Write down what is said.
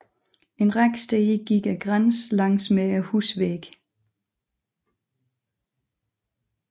En række steder gik grænsen langsmed husvæggene